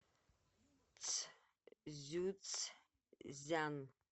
цзюцзян